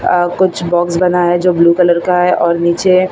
अह कुछ बॉक्स बना है जो ब्लू कलर का है और नीचे--